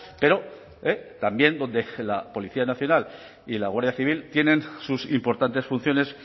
pero también donde la policía nacional y la guardia civil tienen sus importantes funciones